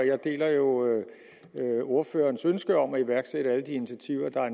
jeg deler jo ordførerens ønske om at iværksætte alle de initiativer der er